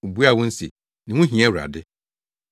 Wobuaa wɔn se, “Ne ho hia Awurade.”